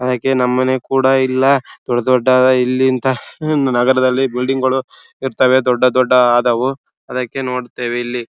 ಹಾಗೆ ನಮ್ಮನೆ ಕೂಡ ಇಲ್ಲಾ ದೊಡ್ಡ ದೊಡ್ಡಆದ ಇಲ್ಲಿಂದ ನಗರದಲ್ಲಿ ಬಿಲ್ಡಿಂಗ್ ಗಳು ಇರತ್ತವೆ ದೊಡ್ಡ ದೊಡ್ಡ ಆದವು ಅದಕ್ಕೆ ನೋಡುತ್ತೇವೆ ಇಲ್ಲಿ.